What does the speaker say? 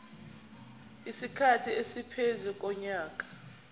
isikhathi esingaphezu konyaka